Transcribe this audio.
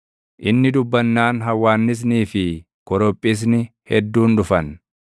Inni dubbannaan hawwaannisnii fi korophisni hedduun dhufan;